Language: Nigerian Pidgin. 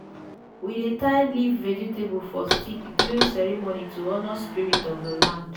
we dey tie leaf vegetable for stick during ceremony to honour spirits of the land.